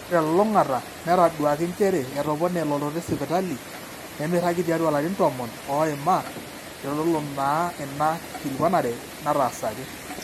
ore telulung'ata netaduaaki njere etopone elototo esipitali nemeiragi tiatua ilarin tomon oima eitodolu naa ina kikilikuanare nataasaki